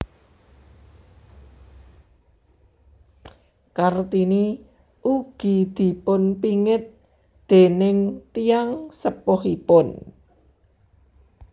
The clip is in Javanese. Kartini ugi dipunpingit déning tiyang sepuhipun